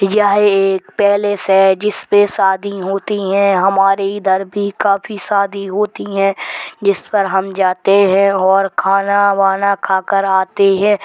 यह एक पैलेस है जिसपे शादी होती हैं। हमारे इधर भी काफी शादी होती हैं जिस पर हम जाते हैं और खाना वाना खाकर आते हैं।